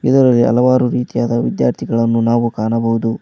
ಇದರಲ್ಲಿ ಹಲವರು ರೀತಿ ಅದ ವಿದ್ಯಾರ್ಥಿಗಳನ್ನು ನಾವು ಕಾಣಬಹುದು.